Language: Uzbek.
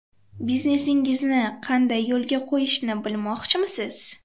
Biznesingizni qanday yo‘lga qo‘yishni bilmoqchimisiz?.